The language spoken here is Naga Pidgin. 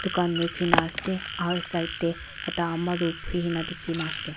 dukan ruki na ase aro side de ekta ama tu buihi kina diki na ase.